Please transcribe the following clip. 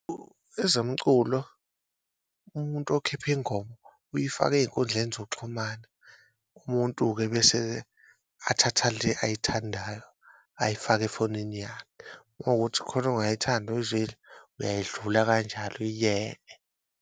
Ezomculo umuntu okhipha ingoma uyifaka eyinkundleni zokuxhumana umuntu-ke bese-ke athatha le ayithandayo ayifake efonini yakhe, uma kuwukuthi khona ongayithandi oyizwile uyayidlula kanjalo uyiyeke.